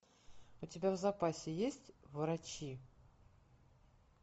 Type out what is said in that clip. у тебя в запасе есть врачи